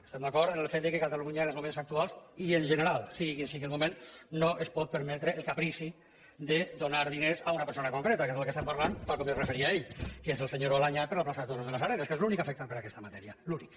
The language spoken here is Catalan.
estem d’acord amb el fet que catalunya en els moments actuals i en general sigui quin sigui el moment no es pot permetre el caprici de donar diners a una persona en concret perquè és del que estem parlant tal com s’hi referia ell que és el senyor balañá per la plaça de toros de les arenes que és l’únic afectat per aquesta matèria l’únic